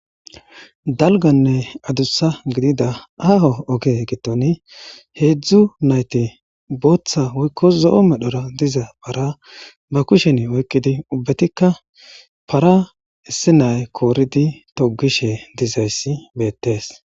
dalganne adussa gidida aaho oge giddoni heedzdzu nayti booththa woykko zo7o medhora diza para ba kushen oykkidi ubbetikka para issi nay kooridi togishe dizayssi beettees